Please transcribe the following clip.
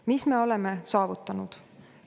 Mis me oleme saavutanud?